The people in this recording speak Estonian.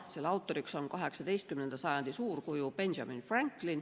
Selle autoriks on 18. sajandi suurkuju Benjamin Franklin.